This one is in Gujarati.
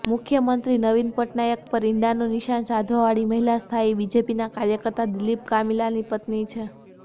મુખ્યમંત્રી નવીન પટનાયક પર ઈંડાનું નિશાન સાધવાવાળી મહિલા સ્થાયી બીજેપીના કાર્યકર્તા દિલીપ કામિલાની પત્ની છે